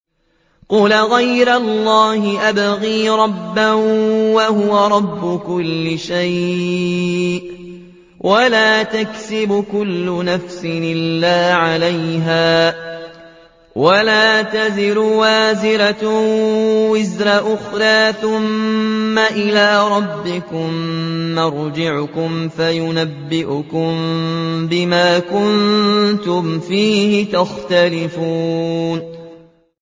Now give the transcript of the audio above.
قُلْ أَغَيْرَ اللَّهِ أَبْغِي رَبًّا وَهُوَ رَبُّ كُلِّ شَيْءٍ ۚ وَلَا تَكْسِبُ كُلُّ نَفْسٍ إِلَّا عَلَيْهَا ۚ وَلَا تَزِرُ وَازِرَةٌ وِزْرَ أُخْرَىٰ ۚ ثُمَّ إِلَىٰ رَبِّكُم مَّرْجِعُكُمْ فَيُنَبِّئُكُم بِمَا كُنتُمْ فِيهِ تَخْتَلِفُونَ